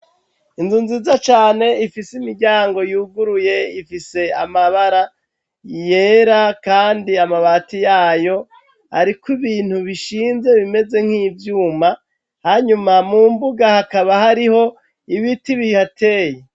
Inzu nziza cane ifise imiryango yuguruye, ifise amabara yera kandi amabati yayo ariko ibintu bishinze bimeze nk'ivyuma, hanyuma mu mbuga hakaba hariho ibiti bihateye.